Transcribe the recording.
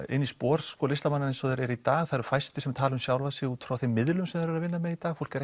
í spor listamanna eins og þeir eru í dag það eru fæstir sem tala um sjálfa sig út frá þeim miðlum sem þeir eru að vinna með í dag fólk er